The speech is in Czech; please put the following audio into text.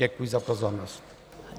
Děkuji za pozornost.